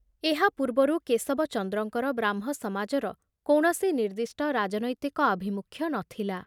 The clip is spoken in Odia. ଏହା ପୂର୍ବରୁ କେଶବଚନ୍ଦ୍ରଙ୍କର ବ୍ରାହ୍ମ ସମାଜର କୌଣସି ନିର୍ଦ୍ଦିଷ୍ଟ ରାଜନୈତିକ ଆଭିମୁଖ୍ୟ ନ ଥିଲା।